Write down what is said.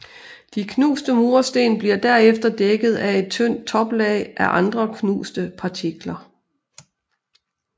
De knuste mursten bliver derefter dækket af et tynd toplag af andre knuste partikler